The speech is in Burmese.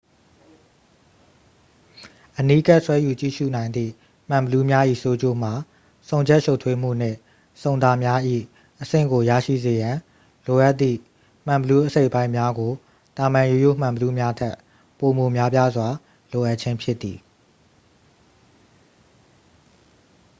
အနီးကပ် ဆွဲယူကြည့်ရူနိုင်သည့် မှန်ဘီလူးများ၏ ဆိုးကျိုးမှာ ဆုံချက်ရှုပ်ထွေးမှုနှင့် ဆုံတာများ၏ အဆင့်ကို ရရှိစေရန် လိုအပ်သည့် မှန်ဘီလူးအစိတ်အပိုင်းများကို သာမန်ရိုးရိုးမှန်ဘီလူးများထက် ပိုမိုများပြားစွာ လိုအပ်ခြင်းဖြစ်သည်